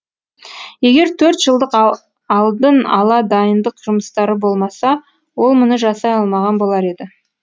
егер төрт жылдық алдын ала дайындық жұмыстары болмаса ол мұны жасай алмаған болар еді